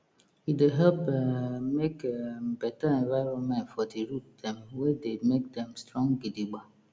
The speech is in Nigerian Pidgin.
e dey help um make um better environmentfor di root dem wey dey make dem strong gidigba